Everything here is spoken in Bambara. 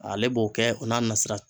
Ale b'o kɛ o n'a nasira.